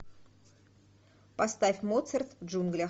поставь моцарт в джунглях